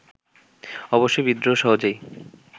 অবশ্যই বিদ্রোহ সহজেই